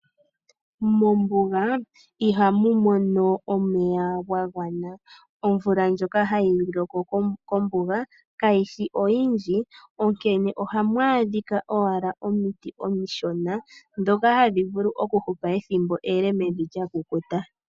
Mombuga ihamu mono omeya ga gwana. Omvula ndjoka hayi loko kombuga kayi shi oyindji. Onkene ohamu adhika owala omiti omishona, dhoka hadhi vulu okuhupa ele mevi lyakukuta.